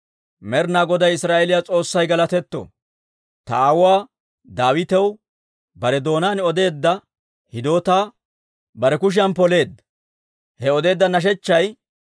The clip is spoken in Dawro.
«Med'inaa Goday Israa'eeliyaa S'oossay galatetto! Ta aawuwaa Daawitaw bare doonaan odeedda hidootaa bare kushiyan poleedda. He I odeedda nashechchay,